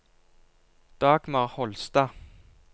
Dagmar Holstad